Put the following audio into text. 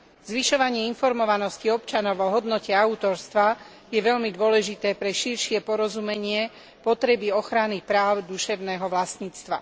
Zvyšovanie informovanosti občanov o hodnote autorstva je veľmi dôležité pre širšie porozumenie potreby ochrany práv duševného vlastníctva.